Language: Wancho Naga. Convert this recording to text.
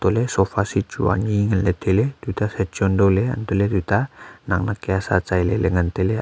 tohle sofa set chu anyi nganle taile tuta sachon dao le antoh le tuta nak nak kya sa sai lele ngan taile.